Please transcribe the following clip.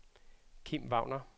Kim Wagner